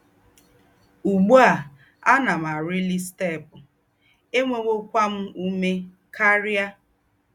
Úgbú à, àná m àrílí stēépụ̀, ènwéwòkwá m úmé kárìa